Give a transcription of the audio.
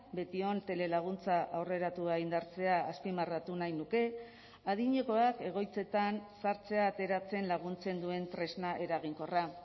betion telelaguntza aurreratua indartzea azpimarratu nahi nuke adinekoak egoitzetan sartzea ateratzen laguntzen duen tresna eraginkorra